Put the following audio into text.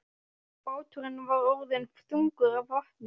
Báturinn var orðinn þungur af vatni.